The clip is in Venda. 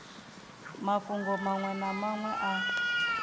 mafhungo manwe na manwe a